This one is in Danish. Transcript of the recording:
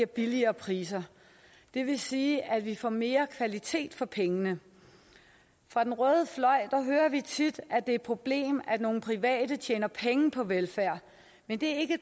billigere priser det vil sige at vi får mere kvalitet for pengene fra den røde fløj hører vi tit at det er et problem at nogle private tjener penge på velfærd men det er